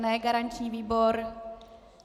Ne garanční výbor.